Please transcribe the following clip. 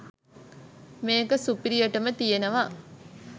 මේක සුපිරියටම තියෙනවා.